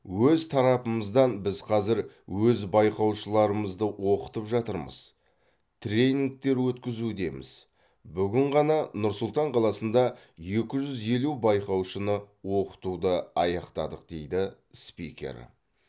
өз тарапымыздан біз қазір өз байқаушыларымызды оқытып жатырмыз тренингтер өткізудеміз бүгін ғана нұр сұлтан қаласында екі жүз елу байқаушыны оқытуды аяқтадық дейді спикер